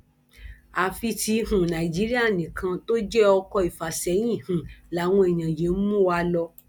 àfi tí um nàìjíríà nìkan tó jẹ ọkọ ìfàsẹyìn um làwọn èèyàn yìí ń mú wa lọ